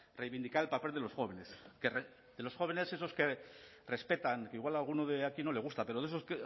reivindicar el papel de los jóvenes de los jóvenes esos que respetan que igual a alguno de aquí no le gusta pero de esos